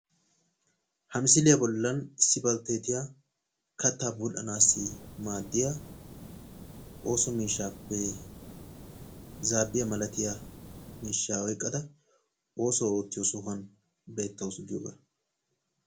Ha misiliya bollan issi balteetiya kattaa bul"anassi maaddiya ooso miishaappe zaabbiya malatiya miishshaa oyqqada oosuwa oottiyo sohuwan beettaawusu giyoogaa.